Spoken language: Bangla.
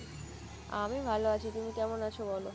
আমি ভালো আছি তুমি কেমন আছো বলো?